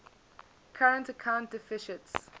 current account deficits